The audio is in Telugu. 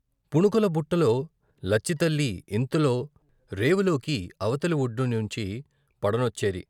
పుణుకుల బుట్టలో లచ్చితల్లి ఇంతలో రేవులోకి అవతలి వొడ్డునుంచి పడనొచ్చేది.